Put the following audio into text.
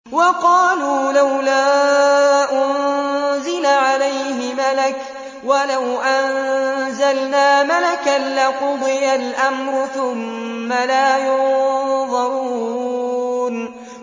وَقَالُوا لَوْلَا أُنزِلَ عَلَيْهِ مَلَكٌ ۖ وَلَوْ أَنزَلْنَا مَلَكًا لَّقُضِيَ الْأَمْرُ ثُمَّ لَا يُنظَرُونَ